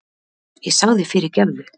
Ég sagði fyrirgefðu!